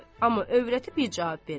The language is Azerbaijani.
Amma övrəti bir cavab vermədi.